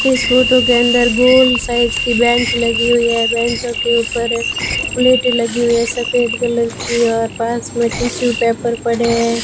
इस फोटो के अंदर गोल साइज की बेंच लगी हुई है बेंचों के ऊपर एक प्लेटें लगी हुई हैं सफेद कलर की और पास में टिशू पेपर पड़े हैं।